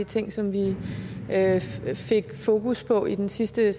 ting som vi fik fokus på i den sidste